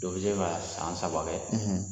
Dɔ bɛ se ka san saba kɛ